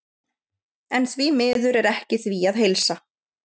En því miður er ekki því að heilsa.